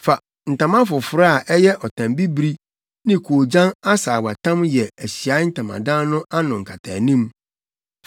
“Fa ntama foforo a ɛyɛ ɔtam bibiri ne koogyan asaawatam yɛ Ahyiae Ntamadan no ano nkataanim.